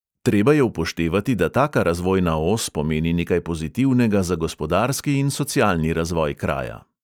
Treba je upoštevati, da taka razvojna os pomeni nekaj pozitivnega za gospodarski in socialni razvoj kraja.